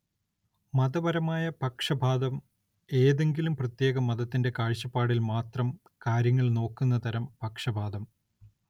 മതപരമായ പക്ഷപാതം ഏതെങ്കിലും പ്രത്യേക മതത്തിന്റെ കാഴ്ചപ്പാടില്‍ മാത്രം കാര്യങ്ങള്‍ നോക്കുന്ന തരം പക്ഷപാതം